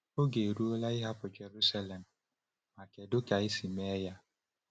Oge eruola ịhapụ Jerusalem — ma kedu ka esi mee ya?